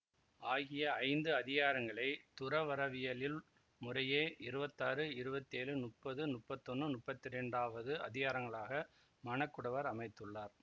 ஆகிய ஐந்து அதிகாரங்களைத் துறவறவியலுள் முறையே இருவத்தாறு இருவத்தேழு முப்பது முப்பத்தொன்னு முப்பத்தி இரண்டாவது அதிகாரங்களாக மணக்குடவர் அமைத்துள்ளார்